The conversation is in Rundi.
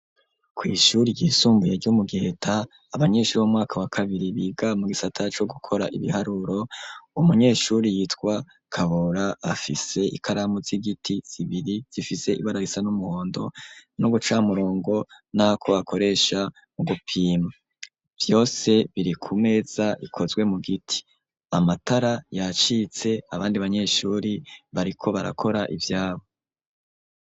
Kw'ishuri ryisumbuye ryo mu geta abanyishuri bomwaka wa kabiri biga mu gisata co gukora ibiharuro u munyeshuri yitwa kabora afise ikaramu z'igiti zibiri zifise ibara risa n'umuhondo no guca murongo nako hakoresha mu gupima vyose biri ku meza rikozwe mu giti amatara yacitse abandi banyeshuri bariko barakora ivyabo.